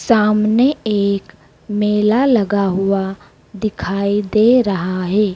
सामने एक मेला लगा हुआ दिखाई दे रहा है।